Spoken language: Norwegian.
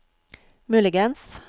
muligens